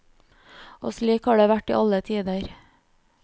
Slik har det vært i alle tider.